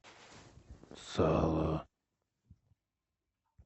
сало